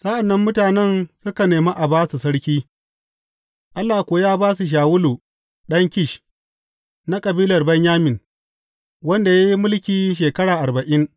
Sa’an nan mutanen suka nemi a ba su sarki, Allah kuwa ya ba su Shawulu ɗan Kish, na kabilar Benyamin, wanda ya yi mulki shekaru arba’in.